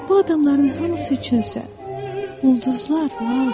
Bu adamların hamısı üçün isə ulduzlar laldır.